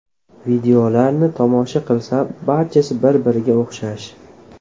Videolarni tomosha qilsam, barchasi bir-biriga o‘xshash.